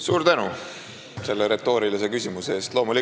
Suur tänu selle retoorilise küsimuse eest!